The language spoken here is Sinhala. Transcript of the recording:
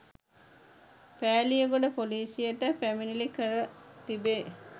පෑලියගොඩ ‍පොලීසියට පැමිණිලි කර තිබේ.